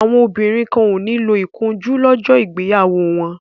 Àwọn obìnrin kan ò ní lo ìkunjú lọ́jọ́ ìgbéyàwó wọn.